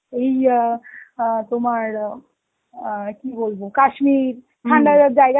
এই আঁ আ তোমার আ আঁ কি বলবো কাশ্মীর ঠান্ডা লাগার জায়গা